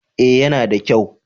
eh ya na da kyau